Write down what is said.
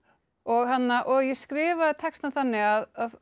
og og ég skrifaði textann þannig að